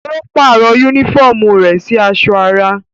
Ó pàrọ̀ yúnífọ̀mù rẹ̀ sì aṣọ ara